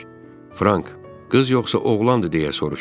Frank qız yoxsa oğlandı deyə soruşub.